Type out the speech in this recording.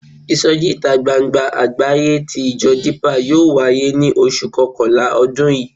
Ìsọjí ìta gbangba àgbáyé tí ìjọ Dípà yóò wáyé ní oṣù kọkànlá ọdún yìí.